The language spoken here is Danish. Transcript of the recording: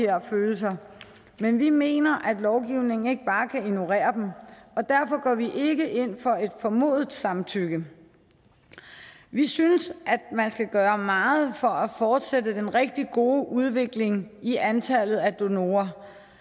her følelser men vi mener ikke at lovgivningen bare kan ignorere dem derfor går vi ikke ind for et formodet samtykke vi synes at man skal gøre meget for at fortsætte den rigtig gode udvikling i antallet af donorer